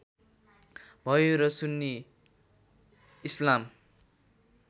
भयो र सुन्नी इस्लाम